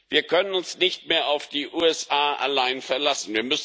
Wir können uns nicht mehr auf die USA allein verlassen.